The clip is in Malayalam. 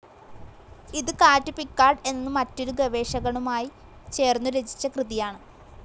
ഇത് കാറ്റ് പിക്കാട് എന്നാ മറ്റൊരു ഗവേഷകാണുമായി ചേർന്നു രചിച്ച കൃതിയാണ്